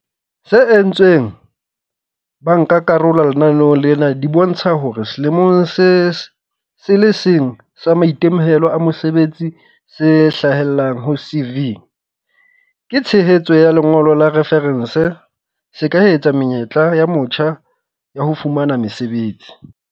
tse entsweng ke bankakarolo lenaneong lena di bontsha hore selemong se le seng sa maitemohelo a mosebetsi se hlahellang ho CV, ka tshehetso ya lengolo la refarense, se eketsa menyetla ya motjha ya ho fumana mosebetsi.